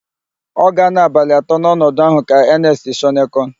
Ọ ga-anọ abalị atọ n'ọnọdụ ahụ ka Enest Shọnekọn.